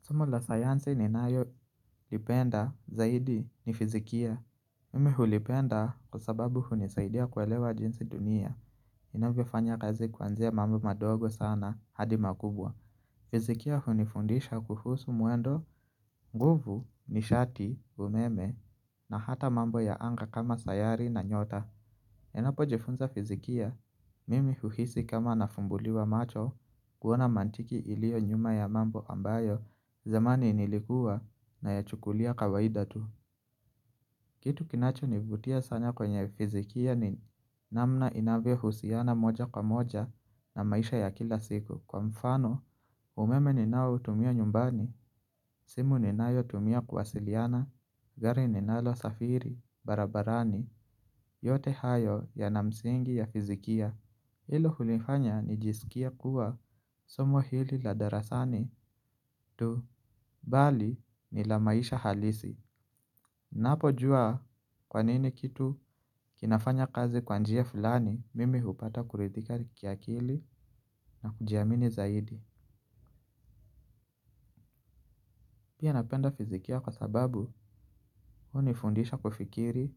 Somo la sayansi ninayolipenda zaidi ni fizikia. Mimi hulipenda kwa sababu hunisaidia kuelewa jinsi dunia. Inavyofanya kazi kuanzia mambo madogo sana hadi makubwa. Fizikia hunifundisha kuhusu mwendo. Nguvu nishati umeme na hata mambo ya anga kama sayari na nyota. Ninapojifunza fizikia? Mimi huhisi kama nafumbuliwa macho. Kuona mantiki iliyo nyuma ya mambo ambayo zamani nilikuwa nayachukulia kawaida tu. Kitu kinachonivutia sana kwenye fizikia ni namna inavyohusiana moja kwa moja na maisha ya kila siku. Kwa mfano umeme ninayo tumia nyumbani, simu ninayotumia kuwasiliana, gari ninalosafiri, barabarani, yote hayo yana msingi ya fizikia. Hilo hunifanya nijisikie kuwa somo hili la darasani tu bali ni la maisha halisi. Ninapojua kwa nini kitu kinafanya kazi kwa njia fulani mimi hupata kuridhika kiakili na kujiamini zaidi. Pia napenda fizikia kwa sababu hunifundisha kufikiri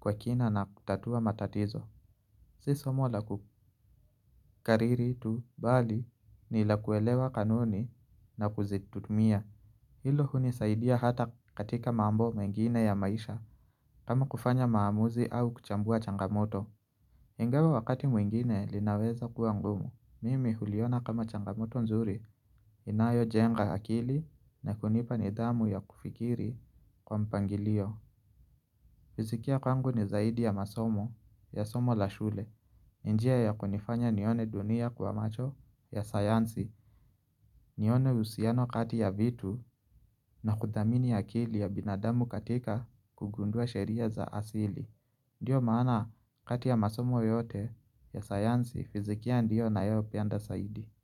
kwa kina na kutatua matatizo. Si somo la kukariri tu bali ni la kuelewa kanuni na kuzitumia. Hilo hunisaidia hata katika mambo mengine ya maisha kama kufanya maamuzi au kuchambua changamoto. Ingawa wakati mwingine linaweza kuwa ngumu mimi huliona kama changamoto nzuri inayojenga hakili na kunipa nidhamu ya kufikiri kwa mpangilio. Fizikia kwangu ni zaidi ya masomo ya somo la shule. Njia ya kunifanya nione dunia kwa macho ya sayansi. Nione uhusiano kati ya vitu na kudhamini akili ya binadamu katika kugundua sheria za asili. Ndiyo maana kati ya masomo yote ya sayansi fizikia ndio ninayoipenda zaidi.